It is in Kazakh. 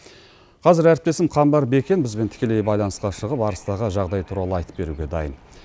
қазір әріптесім қамбар бекен бізбен тікелей байланысқа шығып арыстағы жағдай туралы айтып беруге дайын